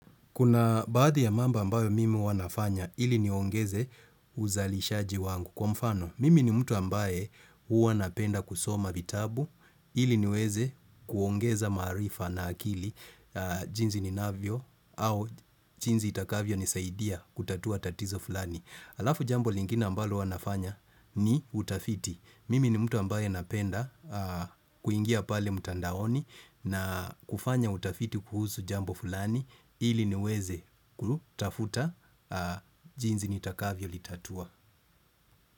Kuna baadhi ya mambo ambayo mimi huwa nafanya ili niongeze uzalishaji wangu. Kwa mfano, mimi ni mtu ambaye huwa napenda kusoma vitabu ili niweze kuongeza maarifa na akili jinsi ninavyo au jinsi itakavyonisaidia kutatua tatizo fulani. Alafu jambo lingine mbalo huwa nafanya ni utafiti. Mimi ni mtu ambaye napenda kuingia pale mtandaoni na kufanya utafiti kuhusu jambo fulani ili niweze kutafuta jinsi nitakavyo litatua.